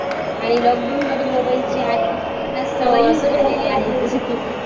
आणि lockdown मध्ये मोबाईलची जी आहे ती सवय झालेली आहे जस की